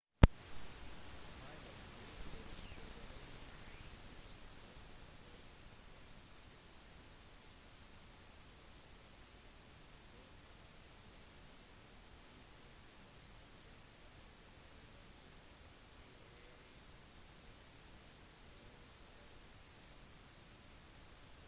piler fra det dødelige armbrøstet kunne trenge gjennom rustningen til rivaliserende soldater assyrianerne introduserte det første kavaleriet ca 1000 år f.kr